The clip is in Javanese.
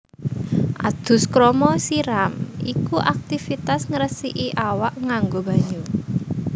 Adus krama siram iku aktivitas ngresiki awak nganggo banyu